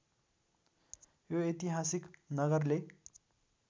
यो ऐतिहासिक नगरले